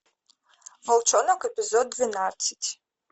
волчонок эпизод двенадцать